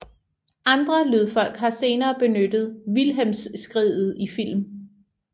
Andre lydfolk har senere benyttet Wilhelmskriget i film